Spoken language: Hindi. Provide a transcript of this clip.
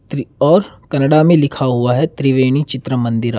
और कन्नडा में लिखा हुआ है त्रिवेणी चित्र मंदिरा।